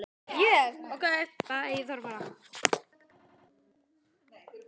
Allt og ekkert